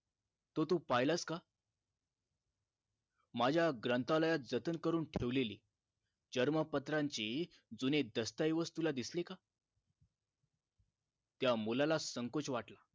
तो तू पाहिलास का माझ्या ग्रंथालयात जतन करून ठेवलेली जन्मपत्रांची जुनी दस्तावेज तुला दिसले का त्या मुलाला संकोच वाटला